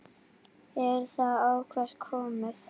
Er það eitthvað komið?